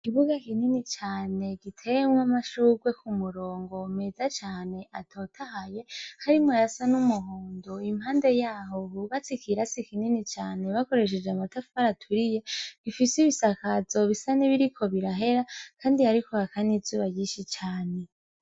Ikibuga kinini cane giteyemwo amashurwe ku murongo meza cane atotahaye harimwo ayasa n'umuhundo impande yaho hubatse kirasi kinini cane bakoresheje amatafari aturiye gifise ibisakazo bisa nkibiriko birahera, kandi hariko haka n'izuba ryishi cane.